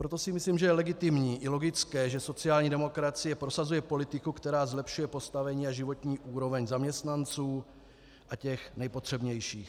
Proto si myslím, že je legitimní i logické, že sociální demokracie prosazuje politiku, která zlepšuje postavení a životní úroveň zaměstnanců a těch nejpotřebnějších.